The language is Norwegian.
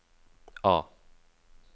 A